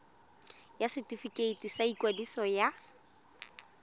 ya setefikeiti sa ikwadiso ya